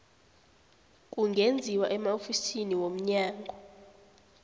kungenziwa emaofisini womnyango